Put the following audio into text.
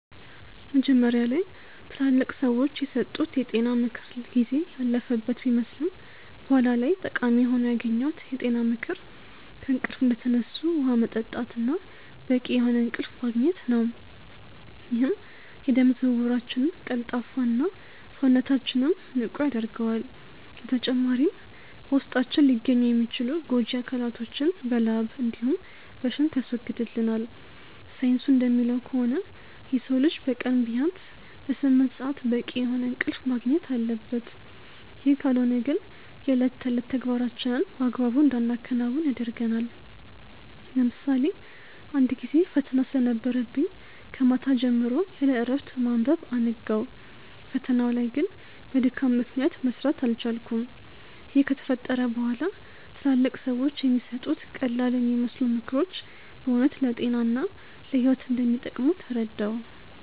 መጀመሪያ ላይ ትላልቅ ሰዎች የሰጡት የጤና ምክር ጊዜ ያለፈበት ቢመስልም በኋላ ላይ ጠቃሚ ሆኖ ያገኘሁት የጤና ምክር ከእንቅልፍ እንደተነሱ ውሃ መጠጣት እና በቂ የሆነ እንቅልፍ ማግኘት ነው፤ ይህም የደም ዝውውራችንን ቀልጣፋ እና፣ ሰውነታችንንም ንቁ ያደርገዋል። በተጨማሪም በውስጣችን ሊገኙ የሚችሉ ጎጂ አካላቶችን በላብ እንዲሁም በሽንት ያስወግድልናል። ሳይንሱ እንደሚለው ከሆነ የሰው ልጅ በቀን ቢያንስ ለስምንት ሰአት በቂ የሆነ እንቅልፍ ማግኘት አለበት፤ ይህ ካልሆነ ግን የእለት ተዕለት ተግባራችንን በአግባቡ እንዳናከናውን ያደርገናል። ለምሳሌ አንድ ጊዜ ፈተና ስለነበረብኝ ከማታ ጀምሮ ያለእረፍት በማንበብ አነጋው። ፈተናው ላይ ግን በድካም ምክንያት መስራት አልቻልኩም። ይህ ከተፈጠረ በኋላ ትላልቅ ሰዎች የሚሰጡት ቀላልየሚመስሉ ምክሮች በእውነት ለጤና እና ለህይወት እንደሚጠቅሙ ተረዳሁ።